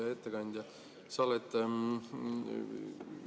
Hea ettekandja!